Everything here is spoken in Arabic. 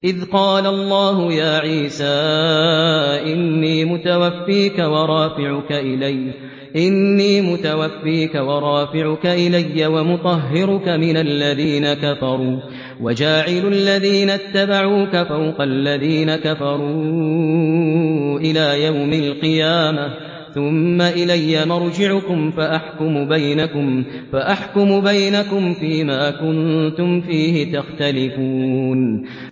إِذْ قَالَ اللَّهُ يَا عِيسَىٰ إِنِّي مُتَوَفِّيكَ وَرَافِعُكَ إِلَيَّ وَمُطَهِّرُكَ مِنَ الَّذِينَ كَفَرُوا وَجَاعِلُ الَّذِينَ اتَّبَعُوكَ فَوْقَ الَّذِينَ كَفَرُوا إِلَىٰ يَوْمِ الْقِيَامَةِ ۖ ثُمَّ إِلَيَّ مَرْجِعُكُمْ فَأَحْكُمُ بَيْنَكُمْ فِيمَا كُنتُمْ فِيهِ تَخْتَلِفُونَ